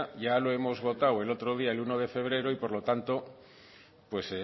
ya lo hemos votado el otro día el uno de febrero y por lo tanto pues